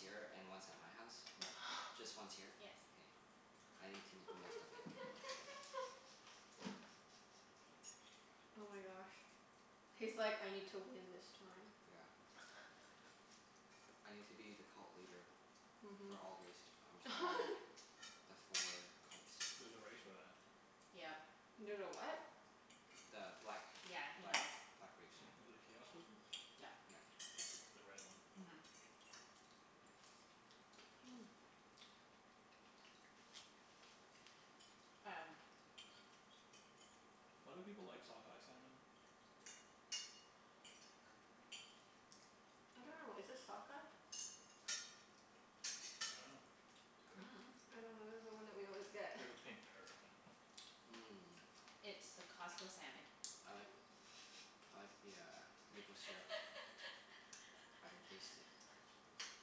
here and once at my house? No. Just once here? Yes. K. I need to make the most of it. Oh my gosh. He's like, "I need to win this time." Yeah. I need to be the cult leader for Mhm. all race or for all the four cults. There's a race for that. Yep. There's a what? The black Yeah, he black knows. black race. The chaos wizards? Yep. Yep. The red one. Mhm. Mm. Um Why do people like sockeye salmon? I don't know. Is this sockeye? I dunno. I don't know. This is the one that we always get. This is pink or I dunno. Mmm. It's the Costco salmon. I like I like the uh maple syrup. I can taste it.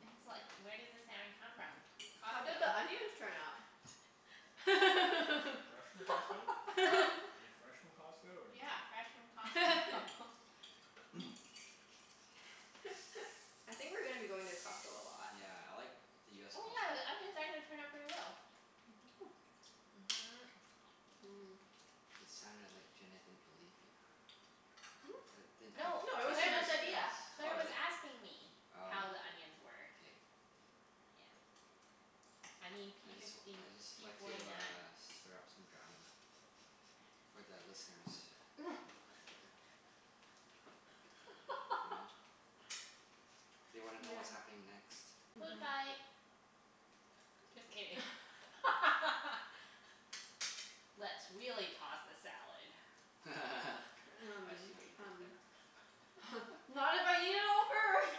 It's like, where does the salmon come from? How did Costco. the onions turn out? Fresh fresh from Costco? Are they fresh from Costco or like Yeah, fresh from Costco. I think we're gonna be going to Costco a lot. Yeah, I like the US Oh yeah, the Costco. onions actually turned out pretty well. Mhm. Mmm. It sounded like Junette didn't believe you. That didn't Hmm? have No, No, it was trust Claire in your was, Junette's idea. skills. Claire Oh was really? asking me Oh. how the onions were. K. Yeah. I mean I p just w- fifty I just p like to forty nine. uh stir up some drama. For the listeners. You know? They wanna know Yeah. what's happening next. Food Mhm. fight. Just kidding. Let's really toss the salad. I Um see what you did um there. Not if I eat it all first.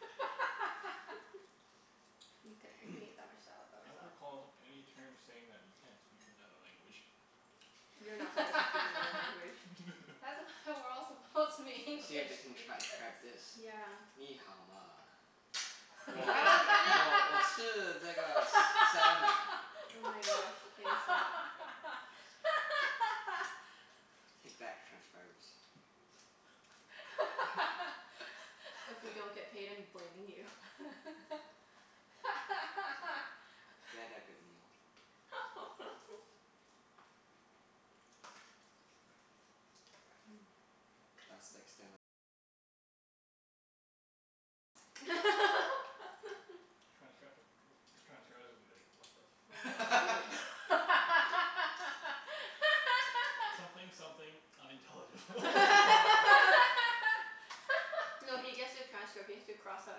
Mkay, I can eat that much salad I by don't myself. recall any terms saying that you can't speak another language. You're not supposed to speak another language. That's why we're all supposed to be English See if they can transcribe speakers. this. Nǐ hǎo ma? I was gonna salmon. Oh my gosh, K, stop. Take that, transcribers. If we don't get paid I'm blaming you. It's okay. We had that good meal. Mmm. Transcr- these transcribers will be like, "What the fuck?" "Something something, unintelligible." No, he gets the transcript. He has to cross out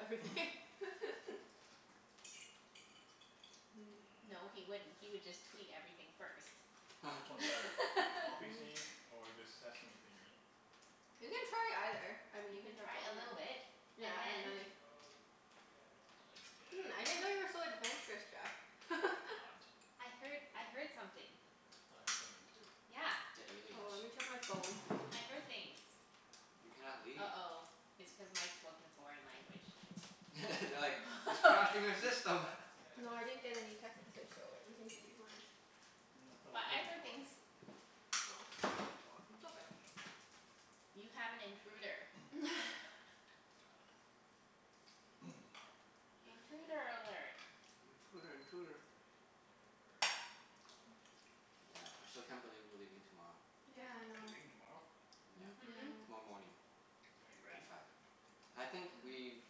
everything. Mmm. No, he Mmm. wouldn't. He would just tweet everything first. Which one's better? Poppy Mm. seed or this sesame thingie? You can try either. I mean You you can can try try a both, little bit yeah and and then then if I Hmm, I didn't know guess. you were so adventurous, I Jeff. am not. I heard I heard something. I thought I heard something too. Yeah. The Oh, let aliens. me check my phone. I heard things. You cannot leave. uh-oh, it's cuz Mike spoke in a foreign language. They're like, "He's crashing our system." No, I didn't get any text message so everything should be fine. No, I thought I But heard I him heard talking. things. Oh. Hear the talking? I dunno. You have an intruder. Intruder alert. Intruder intruder. Yeah, I still can't believe we're leaving tomorrow. Yeah, I You're know. leaving tomorrow? Yeah. Mhm. Yeah. Tomorrow morning. Are you At ready? five. I think we've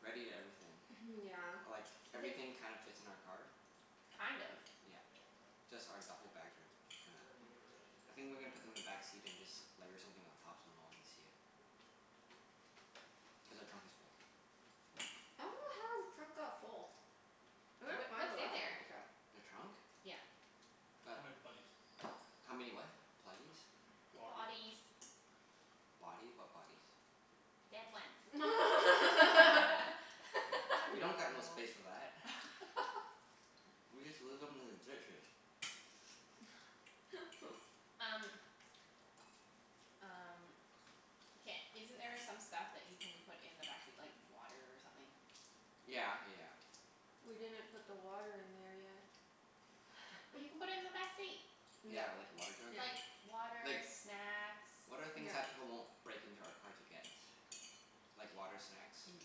readied everything. Mhm, yeah. Like, everything kind of fits in our car. Kind of? Yeah. Just our duffle bags are t- kinda, I think we're gonna put them in the backseat and just layer something on top so no one can see it. Cuz our trunk is full. I dunno how our trunk got full. It looked Wha- fine the what's in last time there? I checked. The trunk? Yeah. Got How many bodies? How many what? Pluggies? Body Bodies. Bodies? What bodies? Dead ones. You Oh. We know. don't got no space for that. We just leave them in the ditches. Um Um, ca- isn't there some stuff that you can put in the backseat, like water or something? Yeah yeah yeah. We didn't put the water in there yet. But you can put it in the backseat. Yeah. Yeah, like a water jug? Yeah. Like water, Like, snacks. what are things They Yeah. that people won't might break into our car to break get? into Like your water, snacks? car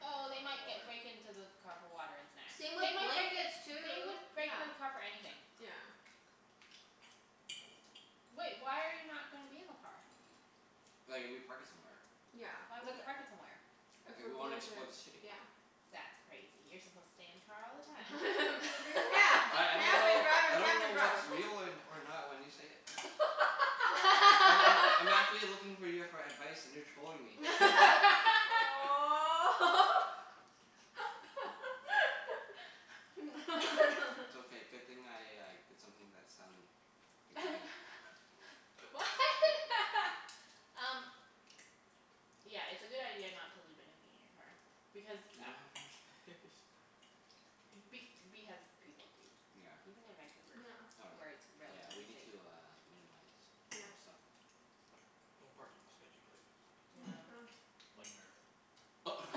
Oh they might ge- break water. into the car for water and snacks. Same with They might break, blankets, they would too. break Yeah. into the car for anything. Yeah. Wait, why are you not gonna be in the car? Like if we park it somewhere. Yeah, Why would like you park it somewhere? If If we're we wanna going to, explore the city. yeah. That's crazy. You're supposed to stay in the car all the time. Yeah. Just I I don't camp and know drive I and don't camp know and drive. what's real or or not when you say it. Oh I I'm actually looking for you for advice and you're trolling me. Aw. It's okay. Good thing I like did something to that salmon you're eating. What? Um Yeah, it's a good idea not to leave anything in your car. Because We a- don't have enough space. Be- because people do, Yeah. even in Vancouver, Yeah. Oh where really? it's Yeah, we relatively need safe. to uh minimize some Yeah. stuff. Don't park in sketchy places Yeah. like America.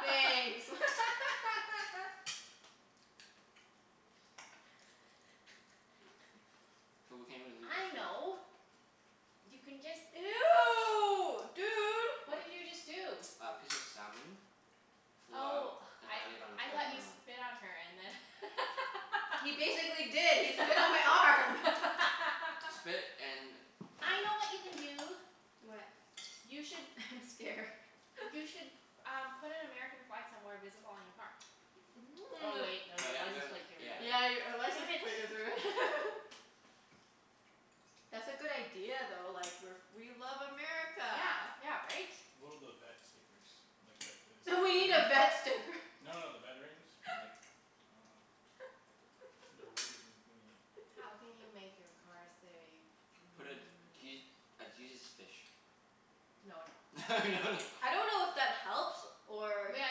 Thanks. So we can't even leave our I food. know You can just Ew, dude. What? What did you just do? A piece of salmon flew out Oh, and I landed on I Claire's thought you arm. spit on her and then He basically did. He spit on my arm. Spit and I know what you can do. What? You should I'm scared. You should um put an American flag somewhere visible on your car. Oh wait, no. Your But th- license we plate give it Yeah. away. Yeah, you're ri- a Damn license it. plate is re- That's a good idea though. Like we're f- we love America. Yeah, yeah right? One of those vet stickers. Like that We need a vet sticker. No, no, the veterans. Like, I dunno. The ribbon thingie. How can you make your car say Put a mm Je- a Jesus fish. No no. No no. I don't know if that helps or Yeah,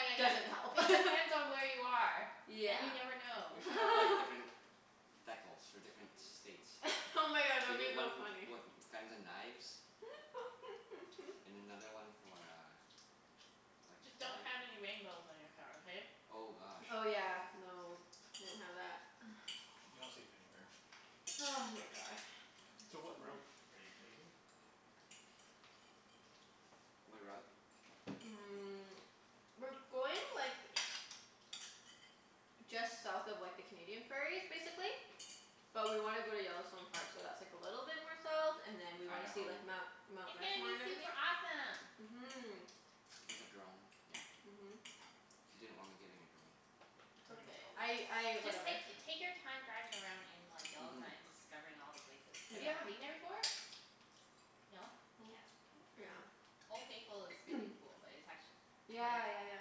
yeah, doesn't help. yeah. It depends on where you are. And you Yeah. never We know. should have like different decals for different states. Oh my god, that We would be need though one funny. with guns and knives. And another one for uh like a Just don't flag. have any rainbows on your car, okay? Oh gosh. Oh yeah, no, won't have that. You're not safe anywhere. Ah, my god. So what route are you taking? What route? Mm, we're going like just south of like the Canadian prairies, basically. But we want to go to Yellowstone Park, so that's like a little bit more south, and then we want to see Idaho. like Mount Mount It's gonna Rushmore be and everything. super awesome. Mhm. With a drone? Yeah. Mhm. She didn't want me getting a drone. It's okay. I I, Just whatever. take take your time driving around in like Yellowstone Mhm. and discovering all the places. Have you ever been Yeah. there before? Yeah. No? Yeah. Yeah. Mm. Old Faithful is pretty cool, but it's actu- like Yeah, yeah, yeah.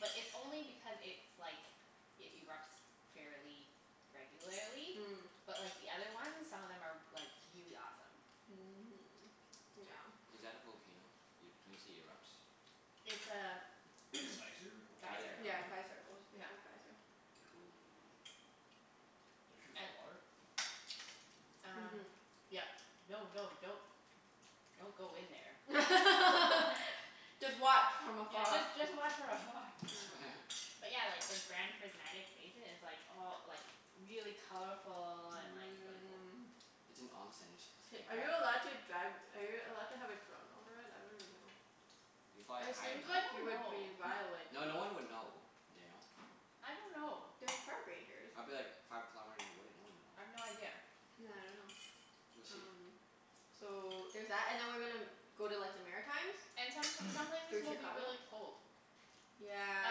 But it's only because it's like, it erupts fairly regularly. Mm. But like the other ones, some of them are like really awesome. Is that a volcano? Y- when you say erupts? It's a Geyser? geyser. Geyser. Oh. Yeah, geyser. Old Yeah. Faithful geyser. Cool. Does shoot hot And water? Um Mhm. yep. No, no, don't don't go in there. Just watch from Yeah, afar. just just watch from afar. Yeah. But yeah, like the Grand Prismatic Basin is like all like really colorful and like really cool. Mmm. It's an. You're supposed to Hey, take are you a allowed bath in it. to drive, are you allowed to have a drone over it? I don't even know. If you fly it It high seems enough. I like don't you N- would know. be violating. no, no one would know, you know? I don't know. There's park rangers. I'd be like five kilometers away. No one I've no would know. idea. Yeah, I dunno. We'll see. Um so there's that. And then we're gonna go to like the Maritimes. And some some places Through will be Chicago. really cold. Yeah,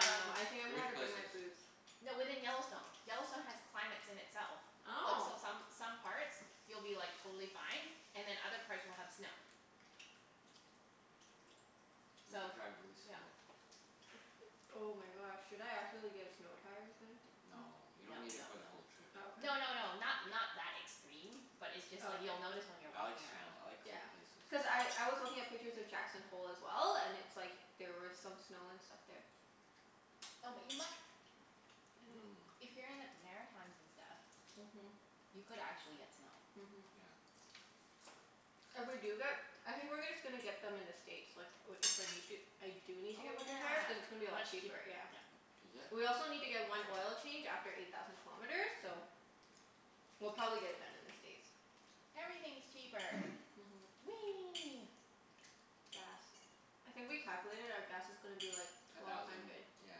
I know. I think I'm gonna Which have to bring my places? boots. No, within Yellowstone. Yellowstone has climates in itself. Like Oh. so some some parts you'll be like totally fine and then other parts will have snow. We'll have So, to drive really yeah. slow. Oh my gosh, should I actually get snow tires then? N- No. You don't no need it no for the no. whole trip. Oh, No, okay. no, no, not not that extreme. But it's just Oh, like okay. you'll notice when you're I like walking snow. around. I like Yeah. cold places. Cuz I I was looking at pictures of Jackson Hole as well, and it's like there were some snow and stuff there. No, but you mi- Mmm. if you're in the Maritimes and stuff Mhm. You could actually get snow. Mhm. Yeah. If we do get, I think we're gonna just gonna get them in the States like i- if we need to, I do need to Oh get winter tires. Cuz it's gonna be a yeah, lot much cheaper. cheaper. Yeah. Yep. Is it? We also need to That's get one oil fair. change after eight thousand kilometers, so We'll probably get it done in the States. Everything's cheaper. Mhm. Whee! Gas. I think we calculated our gas is gonna be like A twelve thousand, hundred. yeah.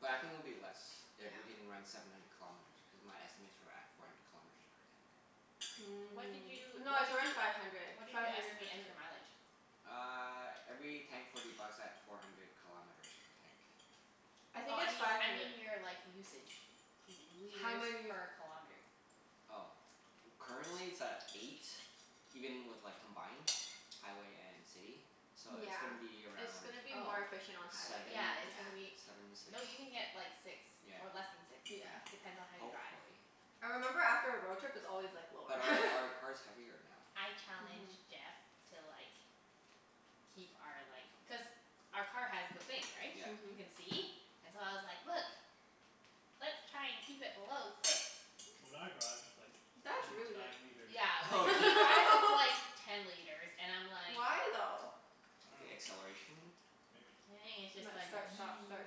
But I think it'll be less Yeah. if we can run seven hundred kilometers, because my estimates were at four hundred kilometers per tank. What did Mm. you No, what did it's around you five hundred. what did Five you hundred estimate as your mileage? Uh every tank forty bucks at four hundred kilometers per tank. I Oh think I it's mean five I hundred. mean your like usage. L- How liters many per kilometer. Oh. Currently it's at eight, even with like combined, highway and city. So it's Yeah. gonna be It's around gonna be Oh. more efficient on seven? highway. Yeah, it's Yeah. gonna be, Seven m- six. no, you can get like six, Yeah, or less than six. Yeah. yeah. Depends on how you drive. Hopefully. I remember after a road trip it's always like lower. But our our car's heavier now. I Mhm. challenged Jeff to like keep our like, cuz our car has the thing, right? Yeah. You Mhm. can see. And so I was like, "Look, let's try and keep it below six." When I drive it's like That's really ten good. nine liters. Yeah, Oh, when really? he drives it's like ten liters and I'm like Why, though? The acceleration? I Maybe it's just Like dunno. like. start, stop, start,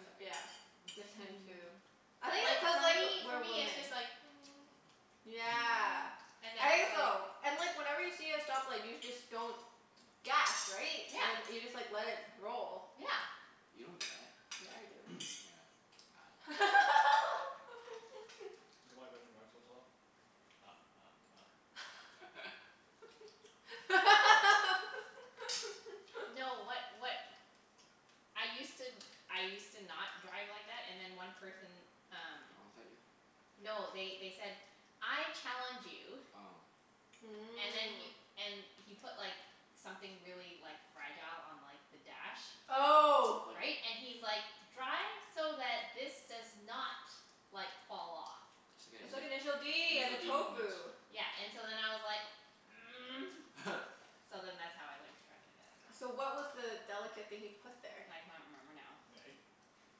st- yeah. him too. I But think it's like cuz for like, me for we're me it's just women. like Yeah. and then I it's think like so. And like whenever you see a stoplight you just don't gas, right? And then Yeah. you just like let it roll. Yeah. You don't do that. Yeah, I do. Yeah, I dunno. Is that why women drive so slow? Ha ha ha. No, what what I used to, I used to not drive like Oh. that, and then one person um Honked at you? No, they they said "I challenge you" Oh. and then he, Mmm. and he put like something really like fragile on like the dash. Oh. Like Right? And he's like, "Drive so that this does not like fall off." I said initial d and the D moment. tofu. Yeah, and so then I was like So then that's how I learned to drive like that. So what was the delicate thing he put there? I can't remember now. An egg?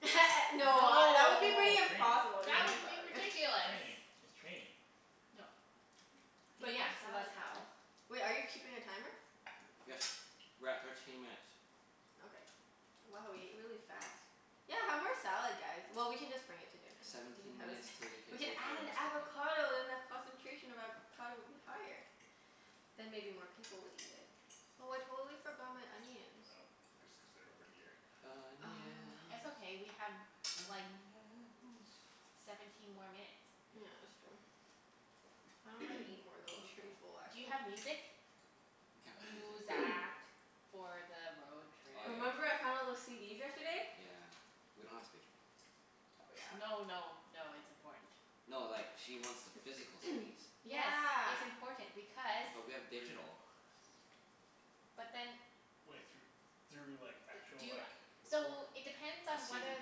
No, that would be No. pretty It's just impossible. That would training. be Training. ridiculous. Training. It's training. No. But Eat more yeah, so that's salad how guys. Wait, are you keeping a timer? Yes. We're at thirteen minutes. Okay. Wow, we ate really fast. Yeah, have more salad guys. Well, we can just bring it to dinner. We can Seventeen have a s- minutes til we can we can play add Terra an Mystica. avocado then the concentration of avocado would be higher. I Then maybe more people would eat it. Oh, I totally forgot my onions. know. Just cuz they're over here. It's Onions. okay, we have like Onions. seventeen Oh, more yes. minutes. Yeah, that's true. I dunno if I can eat more, We though. can I'm pretty chill. full, Do you actually. have music? We can't play music. Muzak. For the road trip. Oh Remember yeah. I found all those CDs yesterday? Yeah. We don't have space for them. Oh, yeah. No, no, no, it's important. No, like she wants the physical CDs. Yes. Yeah. It's important because But we have digital. But then Wai- thr- through like actual Do you, like recor- so it depends A on CD whether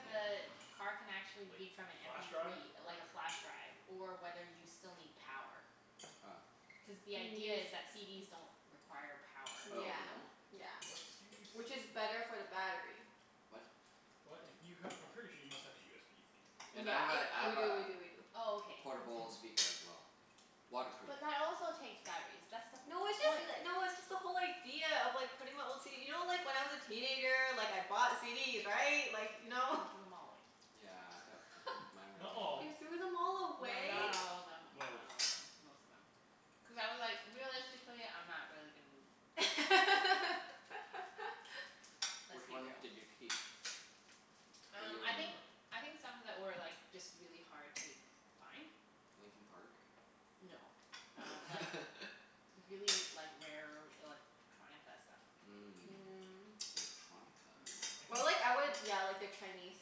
player. the car can actually Like, read from an m flash p drive three, or like a flash drive Or whether you still need power. Oh. Cuz the idea is that CDs don't require power. Oh, Yeah. they don't? Yeah. What CDs? Which is better for the battery. What? What? If you have, I'm pretty sure you must have a USB thing. And Yeah. I have a I We have do, a we do, we do. Oh, All okay. right. portable That's good. speaker as well. Waterproof. But that also takes batteries. That's the No, it's just point. n- no, it's just the whole idea of like putting my old CD, you know like when I was a teenager, like I bought CDs, right? Like, you know? He threw them all away. Yeah d- mine were a Not all. You waste of money. threw them all No, away? not Most. all of them. Not Most. all of them. Most of them. Cuz I was like, realistically I'm not really gon- Let's Which be ones real. did you keep? That you Um I think, remember? I think some that were like just really hard to find. Linkin Park? No, um like really, like rare electronica stuff. Mm Mm. electronica. Electronica? Or like I would yeah, like the Chinese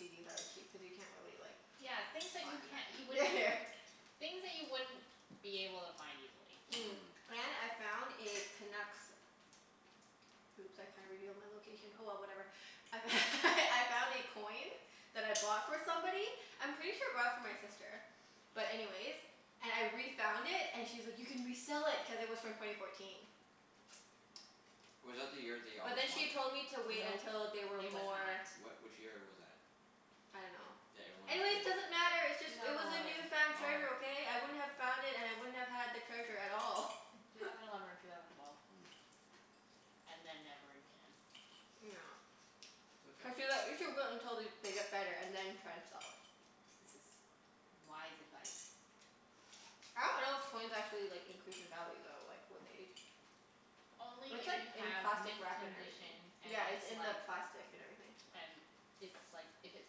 CDs I would keep, cuz you can't really like Yeah, things that find you can't, you them. Yeah, wouldn't yeah. Things that you wouldn't be able to find easily. Mm, Mhm. and I found a Canucks, oops I kinda revealed my location. Oh well, whatever. I f- I found a coin that I bought for somebody. I'm pretty sure I bought it for my sister. But anyways, and I refound it and she was like, "You can resell it." Cuz it was from twenty fourteen. Was that the year they But almost then she won? told me to wait Nope. until they were It was more not. What, which year was that? I don't know. That everyone is thinking? Anyways, doesn't matter. It's just, Two it thousand was a eleven. newfound treasure, Oh. okay? I wouldn't have found it and I wouldn't have had the treasure at all. Two thousand eleven or two thousand twelve. Mm. And then never again. It's okay. we should wait until they they get better and then try to sell it. This is wise advice. I don't know if coins actually like increase in value though, like with age. Only It's if like you in have plastic mint wrap and everything. condition and Yeah, it's it's in like the plastic and everything. and it's like, if it's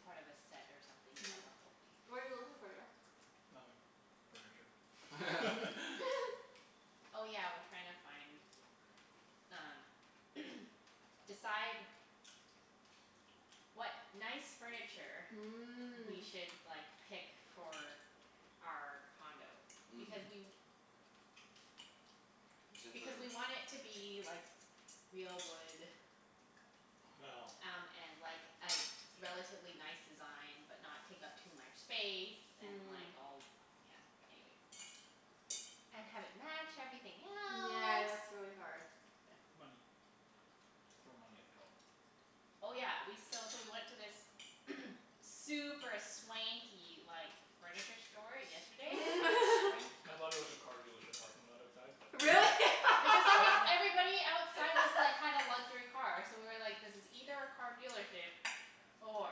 part of a set or something, you have the whole thing. What are you looking for, Jeff? Nothing. Furniture. Mhm. Oh yeah, we're trying to find um decide what nice furniture we Mm. should like pick for our condo. Hmm. Because we Is it for because we want it to be like real wood Well. Yeah. um and like a relatively nice design, but not take up too much space. And Mm. like all, yeah. Anyways. And have it match everything Yeah, else. that's really hard. Money. Just throw money at the problem. Oh yeah, we, so so we went to this super swanky like furniture store yesterday. Swanky. I thought it was a car dealership parking lot outside, but no. Really? Because it was, everybody outside was like, had a luxury car, so we were like, this is either a car dealership or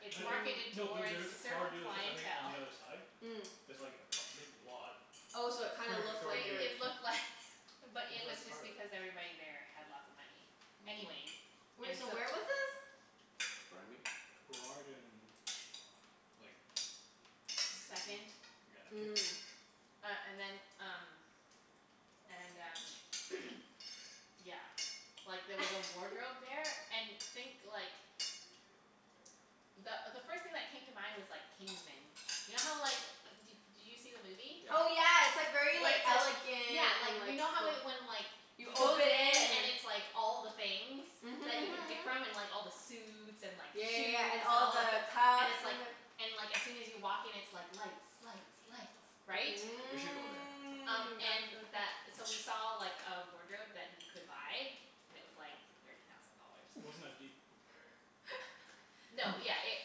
it's marketed Mm. No, there towards there is a a car certain dealership, I think, on clientele. the other side. Mm. There's like a p- a big lot. Oh, so it kinda Furniture looked store It like it here. was it looked Looked like, but it was like part just of it. because everybody there had lots of money. Anyways, Mm. Wait, and so so where was this? Burnaby? Burrard and like Vancouver. Second. Yeah, Kits. Mm. Uh and then, um And um yeah, like there was a wardrobe there. And think like the the first thing that came to mind was like Kingsmen. You know how like, d- did you see the movie? Oh Yeah. yeah, it's like very Where like it's like, yeah, elegant like and you like know how when like You he open goes in it and and then it's like all the things that you Mhm can mhm pick mhm. from, and like all the suits and Yeah, like yeah, shoes, yeah. And and all all the the, and cuffs it's and the like and like as soon as you walk in it's like lights, lights, lights, Mm. right? We should go That there. sounds Um and really th- so cool. we saw like a wardrobe that you could buy. And it was like thirty thousand dollars. Wasn't as deep. No, yeah,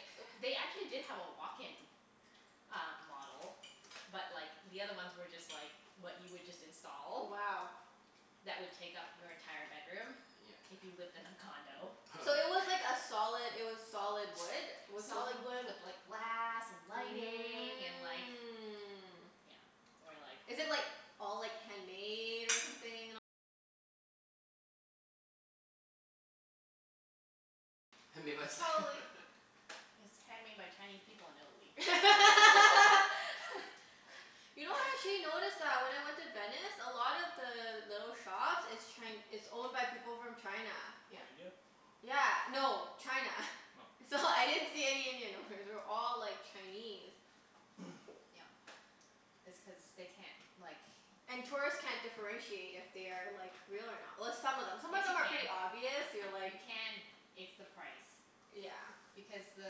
it, they actually did have a walk-in uh model but like the other ones were just like what you would just Wow. install that would take up your entire bedroom if Yeah. you lived in a condo. So it was like a solid it was solid wood? Was something Solid wood with like glass and lighting and like, you know. Mm. And we're like Made by s- It's handmade by Chinese people in Italy. You know actually I noticed that when I went to Venice, a lot of the little shops, it's Chi- it's owned by people from China. Or Yep. India? Yeah. No. China. Oh. It's all, I didn't see any Indian owners. They were all, like, Chinese. Yep. It's cuz they can't, like And tourists can't differentiate if they are, like, real or not. Well, some of them, some of them are Yes pretty you obvious. can. You're You like can. It's the price. Yeah. Because the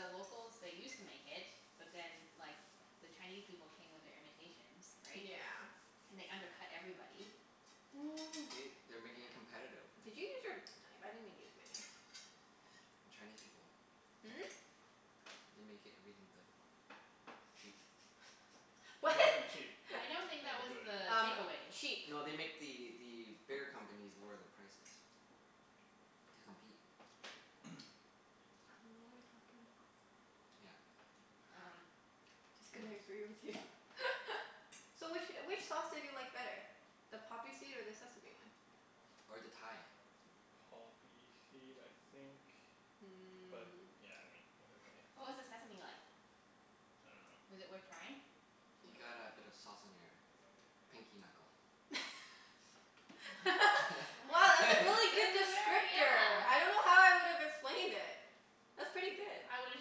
locals, they used to make it, but then like the Chinese people came with their imitations, right? Yeah. And they undercut everybody. See? They're making it competitive. Did you use your knife? I didn't even use my knife. Chinese people. Hmm? They make everything good. Cheap. They What? make everything cheap. I I don't dunno think good. that was Um the takeaway. cheap. No, they make the the bigger companies lower their prices. To compete. I dunno what you're talking about. Yeah. Um Just gonna Anyways. agree with you. So which wh- which sauce did you like better? The poppy seed or the sesame one? Or the Thai. Poppy seed, I think. Mm. But yeah, I mean it was okay. What was the sesame like? Was it worth trying? I dunno. I You got a bit of dunno. sauce on your pinky knuckle. Mm? Wow, that's a really That good was a very, descriptor. I yeah don't know how I would've explained it. That's pretty good. I